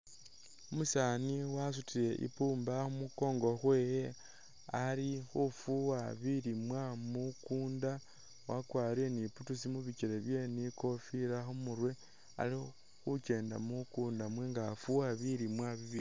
Umusani wasutile imbumba khumunkongo khwewe alikhufuwa bilimwa munkunda wakwarile ni boots mubikyele byewe ni kofila khumurwe alikhukyenda munkunda nga afuuwa bilimwa bibindi